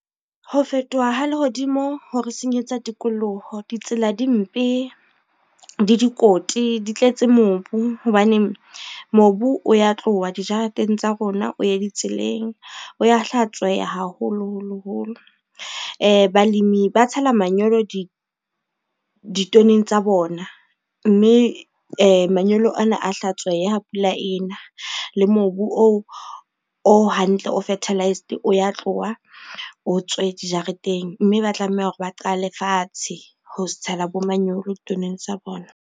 Ho fetoha ha lehodimo hore senyetsa tikoloho ditsela di mpe, di dikoti, di tletse mobu hobane mobu o ya tloha dijareteng tsa rona o ye ditseleng, o ya hlatsweha haholoholo holo. Balemi ba tshela manyolo ditoneng tsa bona, mme manyolo ana a hlatsweha ha pula ena le mobu oo o hantle o fertilized o ya tloha o tswe dijareteng, mme ba tlameha hore ba qale fatshe ho tshela bo manyolo toneng tsa bona.